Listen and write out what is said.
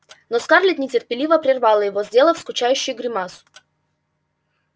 но скарлетт нетерпеливо прервала его сделав скучающую гримасу